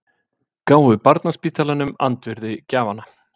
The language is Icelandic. Gáfu barnaspítalanum andvirði gjafanna